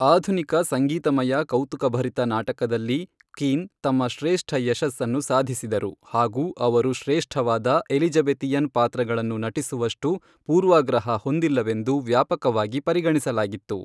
ಆಧುನಿಕ ಸಂಗೀತಮಯ ಕೌತುಕಭರಿತ ನಾಟಕದಲ್ಲಿ ಕೀನ್ ತಮ್ಮ ಶ್ರೇಷ್ಠ ಯಶಸ್ಸನ್ನು ಸಾಧಿಸಿದರು ಹಾಗೂ ಅವರು ಶ್ರೇಷ್ಠವಾದ ಎಲಿಝಬೆತಿಯನ್ ಪಾತ್ರಗಳನ್ನು ನಟಿಸುವಷ್ಟು ಪೂರ್ವಾಗ್ರಹ ಹೊಂದಿಲ್ಲವೆಂದು ವ್ಯಾಪಕವಾಗಿ ಪರಿಗಣಿಸಲಾಗಿತ್ತು.